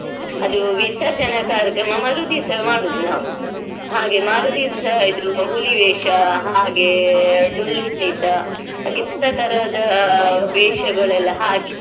ಅದು ವಿಸರ್ಜನಾ ಕಾರ್ಯಕ್ರಮ ಮರುದಿವ್ಸ ಮಾಡೋದು ನಾವ್ ಹಾಗೆ ಮರುದಿವ್ಸ ಇದು ಹುಲಿವೇಷ ಹಾಗೆ ಡೊಳ್ಳು ಕುಣಿತ ಹಾಗೆ ತರ ತರದ ವೇಷಗಳೆಲ್ಲ ಹಾಕಿ.